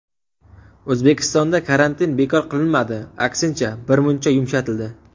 O‘zbekistonda karantin bekor qilinmadi, aksincha, birmuncha yumshatildi.